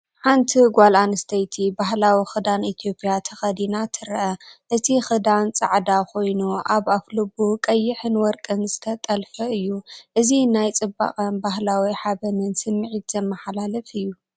ሓንቲ ጓል ኣንስተይቲ ባህላዊ ክዳን ኢትዮጵያ ተኸዲና ትርአ። እቲ ክዳን ጻዕዳ ኮይኑ ኣብ ኣፍልቡ ቀይሕን ወርቅን ዝተጠልፈ እዩ። እዚ ናይ ጽባቐን ባህላዊ ሓበንን ስምዒት ዘመሓላልፍ እዩ።